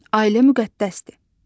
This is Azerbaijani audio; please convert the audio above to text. Ailə müqəddəsdir.